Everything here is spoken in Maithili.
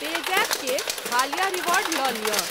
पेजैप के हालिया रिवार्ड लऽ लिअ।